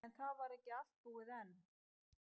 En það var ekki allt búið enn.